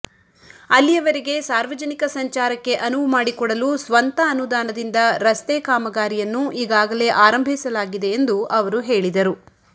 ಅಲ್ಲಿಯವರೆಗೆ ಸಾರ್ವಜನಿಕ ಸಂಚಾರಕ್ಕೆ ಅನುವು ಮಾಡಿಕೊಡಲು ಸ್ವಂತ ಅನುದಾನದಿಂದ ರಸ್ತೆ ಕಾಮಗಾರಿಯನ್ನು ಈಗಾಗಲೇ ಆರಂಭಿಸಲಾಗಿದೆ ಎಂದು ಅವರು ಹೇಳಿದರು